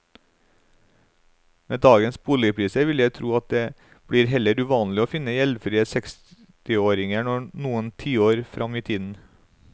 Med dagens boligpriser vil jeg tro at det blir heller uvanlig å finne gjeldfrie sekstiåringer noen tiår frem i tiden.